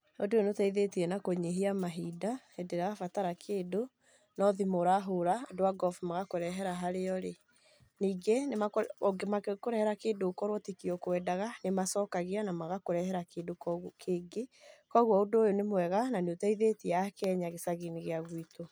Ũndũ ũyũ nĩ ũteithetie na kũnyihia mahinda hĩndĩ ĩrĩa ndĩrabatara kĩndũ, no thimũ ũrahora, andũ a Glovo magakũrehera harĩa ũrĩ. Ningĩ mangĩkũrehera kĩndũ okorwo tikio ukwendaga nĩ macokagia, na magakũrehera kĩndũ kĩngĩ, koguo ũndũ ũyũ nĩ mwega na nĩ uteithetie akenya gĩcagĩ-inĩ gia gwitũ.